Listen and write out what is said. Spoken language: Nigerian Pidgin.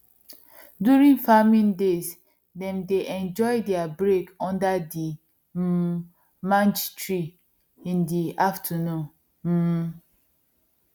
during farming days them dey enjoy there break under the um mange tree in the afternoon um